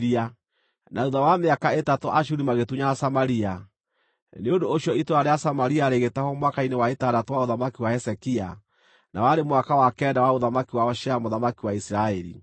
Na thuutha wa mĩaka ĩtatũ Ashuri magĩtunyana Samaria. Nĩ ũndũ ũcio itũũra rĩa Samaria rĩgĩtahwo mwaka-inĩ wa ĩtandatũ wa ũthamaki wa Hezekia, na warĩ mwaka wa kenda wa ũthamaki wa Hoshea mũthamaki wa Isiraeli.